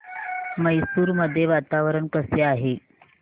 मैसूर मध्ये वातावरण कसे असेल